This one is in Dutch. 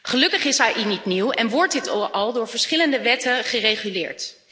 Gelukkig is AI niet nieuw en wordt dit al door verschillende wetten gereguleerd.